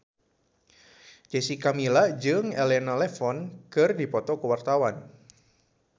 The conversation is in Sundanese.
Jessica Milla jeung Elena Levon keur dipoto ku wartawan